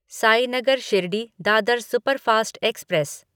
Sainagar Shirdi Dadar superfast express